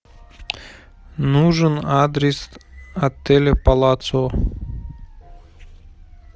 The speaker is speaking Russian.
нужен адрес отеля палацио